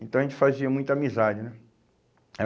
Então a gente fazia muita amizade, né? Era